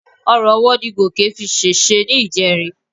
Orun ọwọ́ ni Gòkè fi ṣèṣe ní ìjẹrin.